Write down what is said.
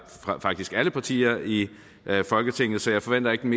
faktisk alle partier i folketinget så jeg forventer ikke den